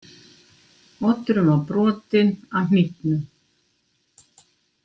Oddurinn var brotinn af hnífnum.